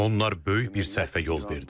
Onlar böyük bir səhvə yol verdi.